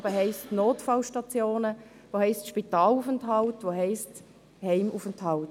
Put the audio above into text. Das heisst eben: Notfallstationen, Spitalaufenthalt, Heimaufenthalt.